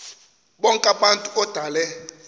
bonk abantu odale